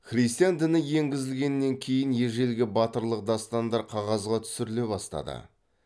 христиан діні енгізілгеннен кейін ежелгі батырлық дастандар қағазға түсіріле бастады